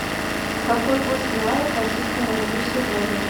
какой курс реала к российскому рублю сегодня